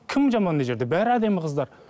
кім жаман мына жерде бәрі әдемі қыздар